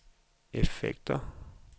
effekter